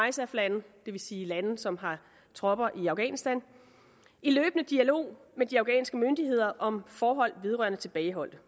isaf lande det vil sige lande som har tropper i afghanistan i løbende dialog med de afghanske myndigheder om forhold vedrørende tilbageholdte